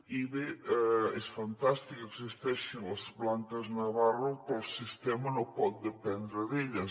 i bé és fantàstic que existeixin les blanques navarro però sistema no pot dependre d’elles